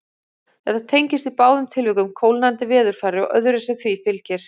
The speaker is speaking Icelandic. Þetta tengist í báðum tilvikum kólnandi veðurfari og öðru sem því fylgir.